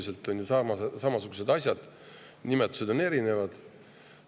Need on ju sisuliselt samasugused asjad, kuigi nimetused on erinevad.